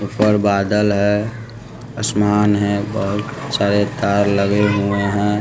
और बादल है आसमान है बहुत सारे तार लगे हुए हैं।